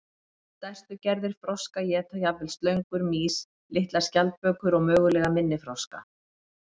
Stærstu gerðir froska éta jafnvel slöngur, mýs, litlar skjaldbökur og mögulega minni froska.